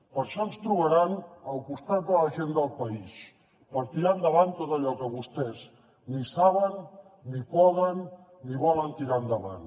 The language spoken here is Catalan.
per això ens trobaran al costat de la gent del país per tirar endavant tot allò que vostès ni saben ni poden ni volen tirar endavant